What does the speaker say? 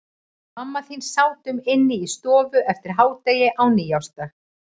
Við mamma þín sátum inni í stofu eftir hádegi á nýársdag.